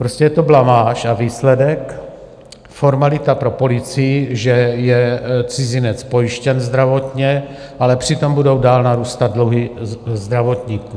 Prostě je to blamáž a výsledek: formalita pro policii, že je cizinec pojištěn zdravotně, ale přitom budou dál narůstat dluhy zdravotníků.